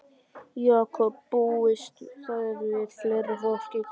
Jakob, búist þið við fleira fólki í kvöld?